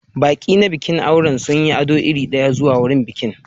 Baƙi na bikin aure sun yi ado iri ɗaya zuwa bikin aure